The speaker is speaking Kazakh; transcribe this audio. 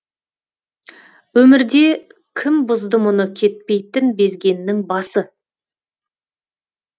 өмірде кім бұзды мұны кетпейтін безгеннің басы